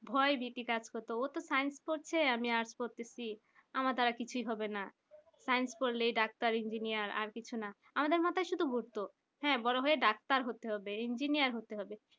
ভয় ভিত্তি কাজ করছে ওতো Science আমি তো arts পড়তেসি আমাদের দ্বারা কিছু হবে না Science পড়লে ডাক্তার engineer আরকিছু না আমাদের মাথায় শুধু ঘুরতো হ্যাঁ বড়ো হয়ে ডাক্তার হতে হবে engineer হতে হবে